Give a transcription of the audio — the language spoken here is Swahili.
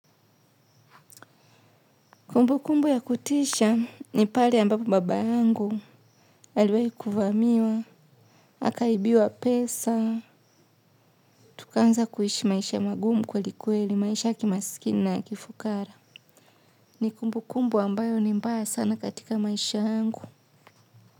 Kumbu kumbu ya kutisha ni pale ambapo baba yangu aliwai kuvamiwa, akaibiwa pesa, tukanza kuishi maisha magumu kweli kweli maisha ya kimasikini na kifukara. Ni kumbu kumbu ambayo ni mbaya sana katika maisha yangu.